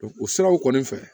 o siraw kɔni fɛ